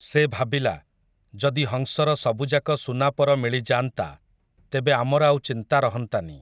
ସେ ଭାବିଲା, ଯଦି ହଂସର ସବୁଯାକ ସୁନାପର ମିଳିଯାଆନ୍ତା, ତେବେ ଆମର ଆଉ ଚିନ୍ତା ରହନ୍ତାନି ।